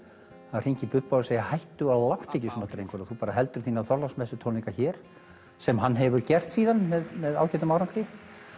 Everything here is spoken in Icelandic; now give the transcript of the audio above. að hringja í Bubba og segir hættu og láttu ekki svona drengur þú bara heldur þína hér sem hann hefur gert síðan með með ágætum árangri